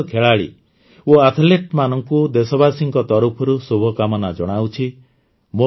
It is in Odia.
ମୁଁ ସମସ୍ତ ଖେଳାଳି ଓ ଆଥଲେଟମାନଙ୍କୁ ଦେଶବାସୀଙ୍କ ତରଫରୁ ଶୁଭକାମନା ଜଣାଉଛି